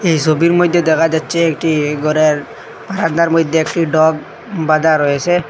এই ছবির মইধ্যে দেখা যাচ্ছে একটি ঘরের হান্দার মইধ্যে একটি ডগ বাঁধা রয়েছে।